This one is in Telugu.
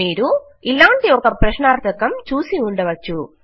మీరు ఇలాంటి ఒక ప్రశ్నార్థకము చూసి ఉండవచ్చు